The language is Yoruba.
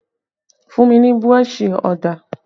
Fun mi ni burọ̀ṣì ọ̀dà!